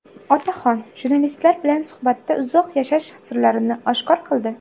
Otaxon jurnalistlar bilan suhbatda uzoq yashash sirlarini oshkor qildi.